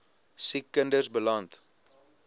siek kinders beland